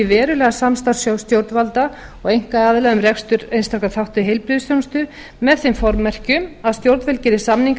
verulega samstarf stjórnvalda og einkaaðila um rekstri einstakra þátta í heilbrigðisþjónustu með þeim formerkjum að stjórnvöld geri samninga við